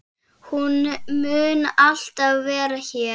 Hún mun alltaf vera hér.